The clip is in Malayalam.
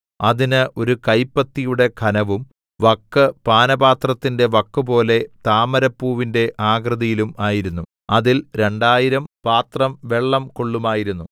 അതിന് ഒരു കൈപ്പത്തിയുടെ ഘനവും വക്ക് പാനപാത്രത്തിന്റെ വക്കുപോലെ താമരപ്പൂവിന്റെ ആകൃതിയിലും ആയിരുന്നു അതിൽ രണ്ടായിരം പാത്രം വെള്ളം കൊള്ളുമായിരുന്നു